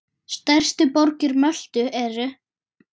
Stærstu borgir Möltu eru